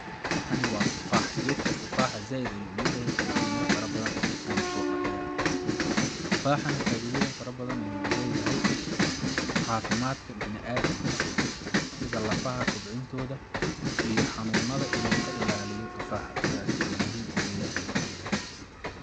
Waxani waa tufaax gedka tufaxa zaid ayuu u yaryahay balse mira fara badan ayuu sodhaliyaa tufaxa nah faiddoyin fara badan ayuu uleyahay cafimaadka bani adamka sida lafaha kobcintooda iyo xanuunada in uu kaa ilaliyo tufaxaaasi sidaas ayuu muhim uyahay.